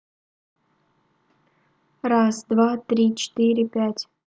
раз-два-три-четыре-пять